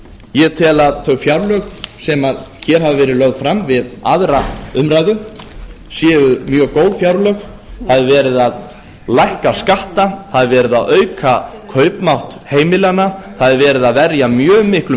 ég tel að þau fjárlög sem hér hafa verið lögð fram við aðra umræðu séu mjög góð fjárlög það er verið að lækka skatta það er verið að auka kaupmátt heimilanna það er verið að verja mjög miklum